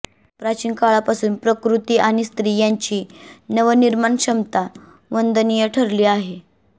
प्राचीन काळापासून प्रकृती आणि स्त्री यांची नवनिर्माणक्षमता वंदनीय ठरली आहे